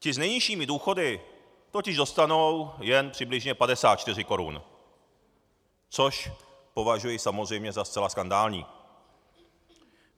Ti s nejnižšími důchody totiž dostanou jen přibližně 54 korun, což považuji samozřejmě za zcela skandální.